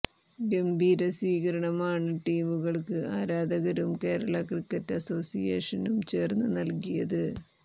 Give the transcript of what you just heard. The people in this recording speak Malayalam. ഗംഭീര സ്വീകരണമാണ് ടീമുകൾക്ക് ആരാധകരും കേരള ക്രിക്കറ്റ് അസ്സോസിയേഷനും ചേർന്ന് നൽകിയത്